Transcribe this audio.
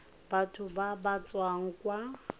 batho ba ba tswang kwa